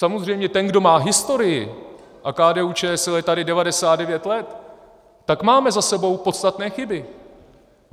Samozřejmě ten, kdo má historii, a KDU-ČSL je tady 99 let, tak máme za sebou podstatné chyby.